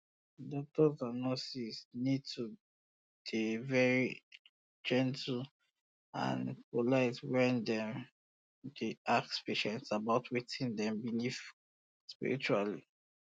doctors and nurses need to dey very gentle and polite when dem dey ask patient about wetin dem believe spiritually